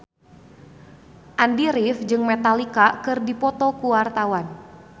Andy rif jeung Metallica keur dipoto ku wartawan